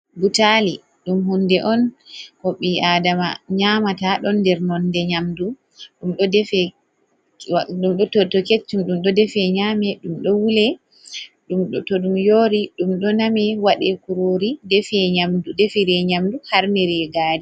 Butaali ɗum hunde on, ko ɓii aadama nyaamata, ɗon nder nonde nyamdu, ɗum ɗo to keccum, ɗum ɗo defe nyama, ɗum ɗo wule, to ɗum yoori ɗum ɗo name waɗe kuroori, defire nyamdu, harnire gaari.